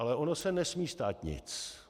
Ale ono se nesmí stát nic.